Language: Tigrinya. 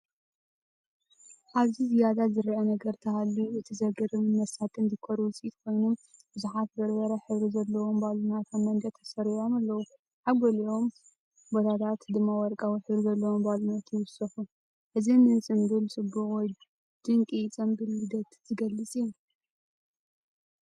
ኣብዚ ዝያዳ ዝረአ ነገር እንተሃልዩ፡ እቲ ዘገርምን መሳጥን ዲኮር ውጽኢት ኮይኑ፡ብዙሓት በርበረ ሕብሪ ዘለዎም ባሎናት ኣብ መንደቕ ተሰሪዖም ኣለዉ። ኣብ ገሊኡ ቦታታት ድማ ወርቃዊ ሕብሪ ዘለዎም ባሎናት ይውሰኹ። እዚ ንጽምብል ጽቡቕ ወይ ድንቂ ጽምብል ልደት ዝገልጽ እዩ።